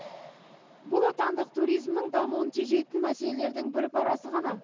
бұл отандық туризмнің дамуын тежейтін мәселелердің бір парасы ғана